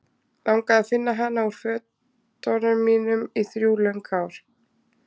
Langaði að finna hana úr fötunum mínum í þrjú löng ár.